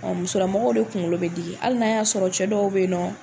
Ɔ musolamɔgɔw de kunkolo bɛ digi hali na y'a sɔrɔ cɛ dɔw bɛ yen nɔ